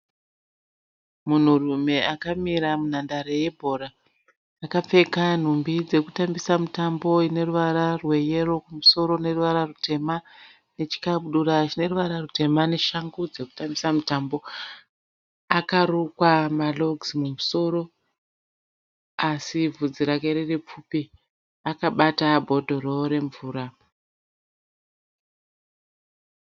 Munhurume akamira munhandare yebhora. Akapfeka nhumbi dzekutambisa mutambo ine ruvara rweyero kumusoro neruvara rutema nechikabudura chine ruvara rutema neshangu dzekutambisa mutambo. Akarukwa marogisi mumusoro pasi bvudzi rake riri pfupi. Akabata bhodhoro remvura.